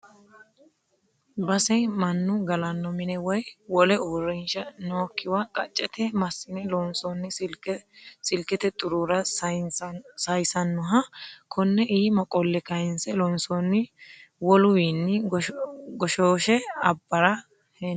Base mannu gallano mina woyi wole uurrinsha nookkiwa qacete massine loonsonni silkete xurura saysanoha kone iima qolle kayinse loonsonni woluwinni goshoshe abbara hende.